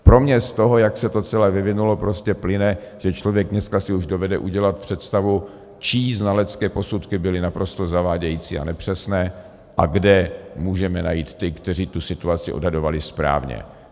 Pro mě z toho, jak se to celé vyvinulo, prostě plyne, že člověk si dneska už dovede udělat představu, čí znalecké posudky byly naprosto zavádějící a nepřesné a kde můžeme najít ty, kteří tu situaci odhadovali správně.